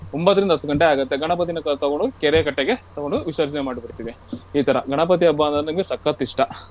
ಒಂಭತ್ತರಿಂದ ಹತ್ತ್ ಗಂಟೆ ಆಗುತ್ತೆ. ಗಣಪತಿನ ತಗೊಂಡು ಕೆರೆಕಟ್ಟೆಗೆ ತಗೊಂಡು ವಿಸರ್ಜನೆ ಮಾಡ್ಬಿಡ್ತೀವಿ. ಈ ತರ ಗಣಪತಿ ಹಬ್ಬ ಅಂದ್ರೆ ನಂಗೆ ಸಖತ್ ಇಷ್ಟ.